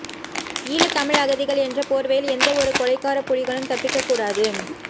ஈழத் தமிழ் அகதிகள் என்ற போர்வையில் எந்த ஒரு கொலைகார புலிகளும் தப்பிக்க கூடாது